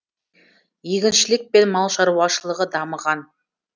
егіншілік пен мал шаруашылығы дамыған